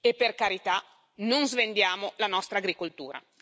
E, per carità, non svendiamo la nostra agricoltura.